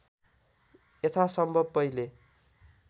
यथासम्भव पहिले